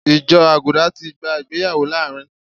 Ìjọ Àgùdà ti gba ìgbéyàwó láàárín